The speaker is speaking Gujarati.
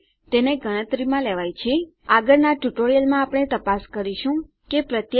આગળનાં ટ્યુટોરીયલમાં આપણે તપાસ કરીશું કે પ્રત્યેક ફીલ્ડ ટાઈપ કરાયેલી છે કારણ કે રજીસ્ટરેશન માટે બધાની આવશક્યતા છે